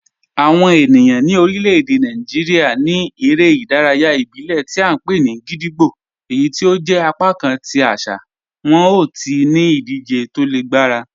Awọn ènìyàn ni orílẹ̀-èdè Nàìjíríà ní èrè idàráyà ìbílẹ̀ tí a npe ni gídígbò, èyí tí ó jẹ̀ apakàn tí àṣà wọn ti ó ní idije tó lè gbarà.